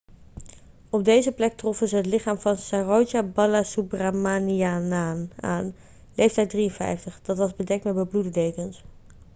op deze plek troffen ze het lichaam van saroja balasubramanianaan aan leeftijd 53 dat was bedekt met bebloede dekens